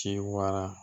Ci wara